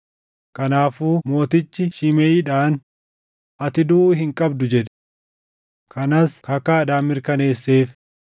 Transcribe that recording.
Kanaafuu mootichi Shimeʼiidhaan, “Ati duʼuu hin qabdu” jedhe. Kanas kakaadhaan mirkaneesseef.